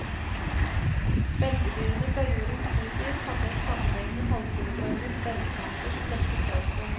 Beltedyrene fra jordens nytid hadde et sammenhengende, halvkuleformet beinpanser som dekket kroppen.